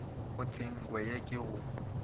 a tshenko ye ke go